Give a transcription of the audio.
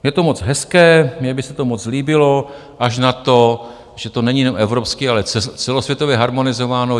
Je to moc hezké, mně by se to moc líbilo, až na to, že to není jenom evropsky, ale celosvětově, harmonizováno.